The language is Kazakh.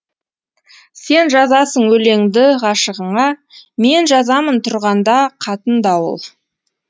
сен жазасың өлеңді ғашығыңа мен жазамын тұрғанда қатындауыл